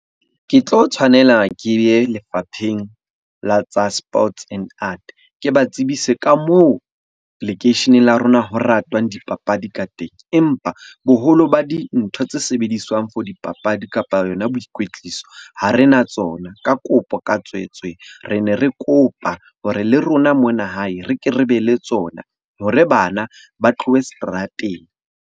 Ke tlo tshwanela ke ye lefapheng la tsa sports and Art. Ke ba tsebise ka moo lekeisheneng la rona ho ratwang dipapadi ka teng, empa boholo ba dintho tse sebediswang for dipapadi kapa yona boikwetliso ha re na tsona. Ka kopo, ka tswetswe. Re ne re kopa hore le rona mona hae re ke re be le tsona hore bana ba tlohe seterateng.